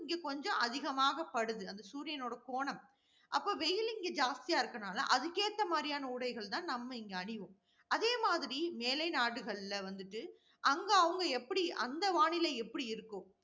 இங்க கொஞ்சம் அதிகமாகப்படுது அந்த சூரியனுடைய கோணம். அப்ப வெயில் இங்க ஜாஸ்தியா இருக்கிறதனால, அதுக்கு ஏத்த மாதிரியான உடைகள் தான் நம்ம இங்க அணிவோம். அதேமாதிரி, மேலை நாடுகள்ல வந்துட்டு, அங்க அவங்க எப்படி அந்த வானிலை எப்படி இருக்கோ